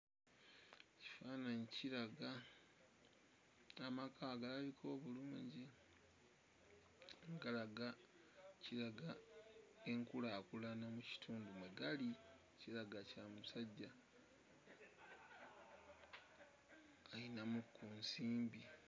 Kifaananyi kiraga amaka agalabika obulungi nga galaga kiraga enkulaakulana mu kitundu mwe gali kiraga kya musajja ayinamu ku nsimbi.